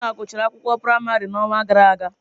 Ikenna gụchara akwụkwọ praịmarị n’ọnwa gara aga.